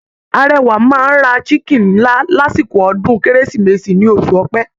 Arẹwà máa ra chiken ńlá lásìkò ọdún kérésìmesì ní oṣù Ọ̀pẹ.